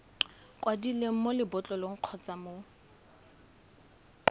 kwadilweng mo lebotlolong kgotsa mo